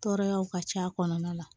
Tɔɔrɔyaw ka c'a kɔnɔna la